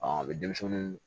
a bɛ denmisɛnninw